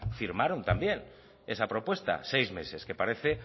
firmaron también esa propuesta seis meses que parece